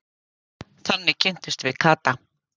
Þannig kynntumst við Kata.